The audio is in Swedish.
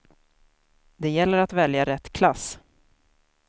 Det gäller att välja rätt klass.